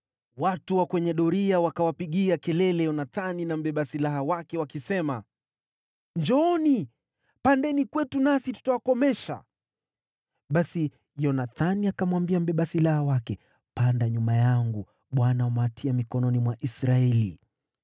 Watu wa kwenye doria wakawapigia kelele Yonathani na mbeba silaha wake, wakisema, “Njooni, pandeni kwetu nasi tutawakomesha.” Basi Yonathani akamwambia mbeba silaha wake, “Panda nyuma yangu; Bwana amewatia mikononi mwa Israeli.”